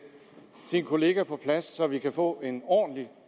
sin kollega på plads så vi kan få en ordentlig